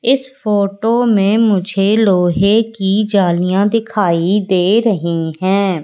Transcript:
इस फोटो में मुझे लोहे की जालियां दिखाई दे रही है।